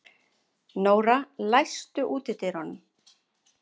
Nóra, læstu útidyrunum.